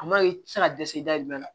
A maɲi i tɛ se ka dɛsɛ dayirimɛ la